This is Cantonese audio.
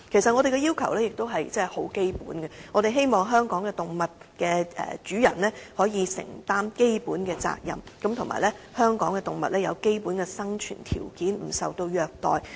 我們的要求很基本，便是希望香港動物的主人可以承擔基本責任，以及捍衞香港動物的基本生存條件，不受虐待。